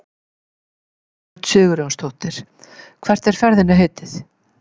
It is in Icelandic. Hjördís Rut Sigurjónsdóttir: Hvert er ferðinni heitið?